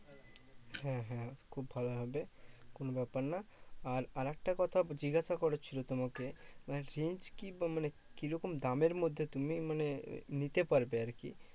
হম হম খুব ভালো হবে কোনো ব্যাপার না। আর আরেকটা কথা জিজ্ঞাসা করছি তোমাকে, আহ change কি মানে কি রকম দামের মধ্যে তুমি মানে নিতে পারবে আরকি?